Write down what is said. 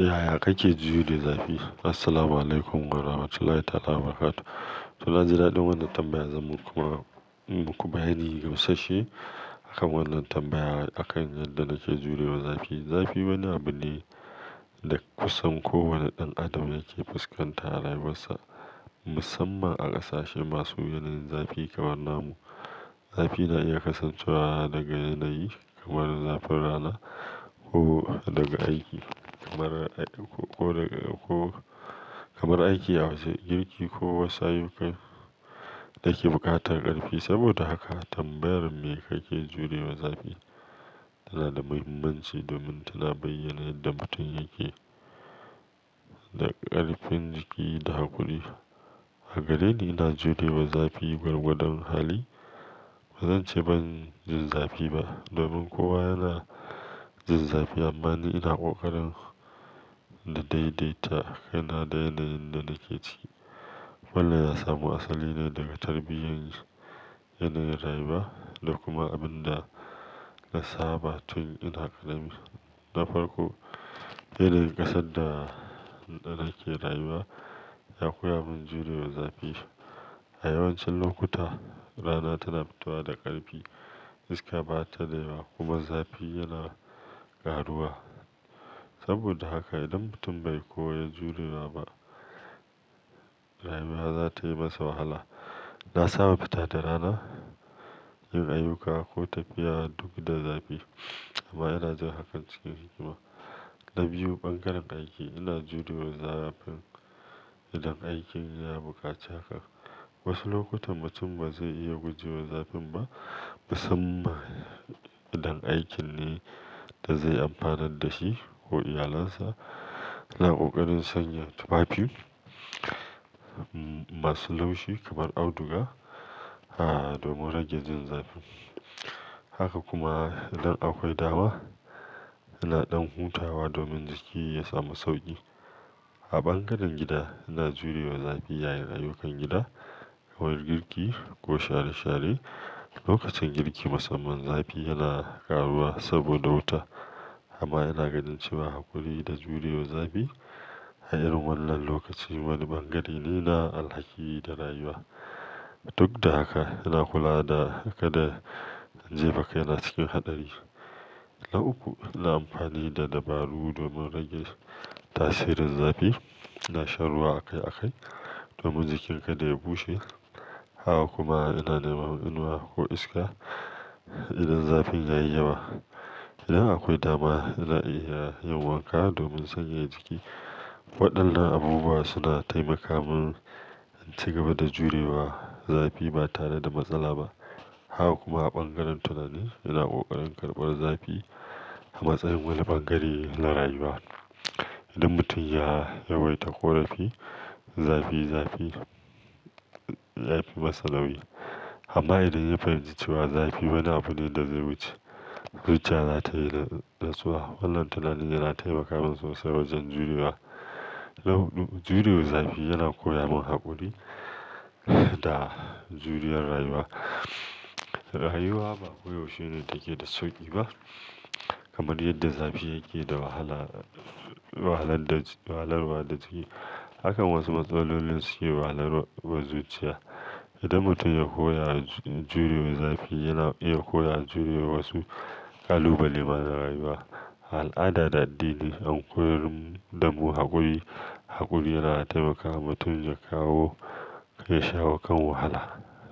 Yaya kake jure zafi? Assalamualaikum warahmatullahi ta'ala wabarakatuh. To, na ji daɗin wannan tambayar zan maku in muku bayani gamsashe. Akan wannan tambayar akan yadda nake jurewa zafi. Zafi wani abu ne da kusan kowane ɗan adam yake fuskanta a rayuwarsa, musamman a ƙasashe masu yanayin zafi kamar namu. Zafi na iya kasancewa daga yanayi kamar zafin rana ko daga aiki kamar, ko daga, ko kamar aiki a waje, girki ko wasu ayyukan da ke buƙatar ƙarfi. Saboda haka tambayar me kake jurewa zafi tana da muhimmanci domin tana bayyana yadda mutum yake da ƙarfin jiki da hakuri. A gareni ina jurewa zafi gwargwadon hali. Ba zan ce ban jin zafi ba domin kowa yana jin zafi amma ni ina ƙoƙarin daidaita yana da yanayin da nake ciki. Wannan ya samu asali ne daga tarbiyyar yanayin rayuwa da kuma abin da na saba tun ina ƙarami. Na farko, yanayin ƙasar da da nake rayuwa ya koya min jurewa zafi. A yawancin lokuta rana tana fitowa da ƙarfi, iska ba ta nema kuma zafi yana ƙaruwa. Saboda haka idan mutum bai koyi jurewa ba, rayuwa za ta yi masa wahala. Na saba fita da rana, yin ayyuka ko tafiya duk da zafi amma ina jan hakan cikin hikima. Na biyu, ɓangaren aiki, ina jurewa zafin idan aikin ya buƙaci haka. Wasu lokuta mutum ba zai iya gujewa zafin ba musamman idan aikin ne da zai amfanar da shi ko iyalinsa. Ina ƙoƙarin sanya tufafi masu laushi kamar auduga, ha, domin rage jin zafi. Haka kuma idan akwai dama ina ɗan hutawa domin jiki ya samu sauƙi. A ɓangaren gida ina jurewa zafi yayin ayyukan gida kamar girki ko share-share. Lokacin girki musamman zafi yana ƙaruwa saboda wuta amma ina ganin cewa haƙuri da jurewa zafi a irin wannan lokaci wani ɓangare ne na alhaki da rayuwa. Duk da haka ina kula da haka da jefa kai na cikin haɗari. Na uku, ina amfani da dabaru domin rage tasirin zafi. Ina shan ruwa akai-akai domin jikin kada ya bushe. Haka kuma ina nema inuwa ko iska idan zafin ya yi yawa. Idan akwai dama ina iya yin wanka domin sanyaya jiki. Waɗannan abubuwa suna taimaka min in ci gaba da jurewa zafi ba tare da matsala ba. Haka kuma a ɓangaren tunani ina ƙoƙarin karɓar zafi a matsayin wani ɓangare na rayuwa. Idan mutum ya yawaita ƙorafi, zafi, zafi ya fi masa nauyi. Amma idan ya fahimci cewa zafi wani abune da zai wuce, zuciya za ta yi natsuwa. Wannan tunani yana taimaka min sosai wajen jurewa. Na huɗu, jurewa zafi yana koya min haƙuri da juriya rayuwa. Rayuwa ba koyaushe take da sauƙi ba kamar yadda zafi yake da wahala, wahalar da, wahalarwa da jiki. Hakan wasu matsalolin suke wahalarwa zuciya. Idan mutum ya koya jurewa zafi yana iya koya jurewa wasu ƙalubale ma na rayuwa. Al'ada da addini an koyar da mu haƙuri. Haƙuri yana taimaka wa mutum ya kawo ya shawo kan wahala.